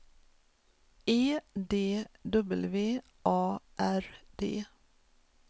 E D W A R D